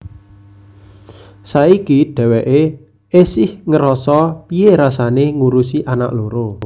Saiki dheweké esih ngerasa piye rasané ngurusi anak loro